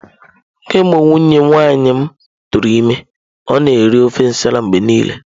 Kemgbe nwunye nwanne m tụrụ ime, ọ na-eri ofe nsala mgbe niile.